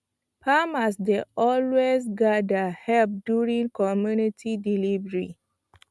farmers dey always gather help during comunity delivery